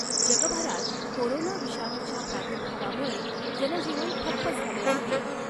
जगभरात कोरोना विषाणूच्या प्रादुर्भावामुळै जनजीवन ठप्प झाले आहे.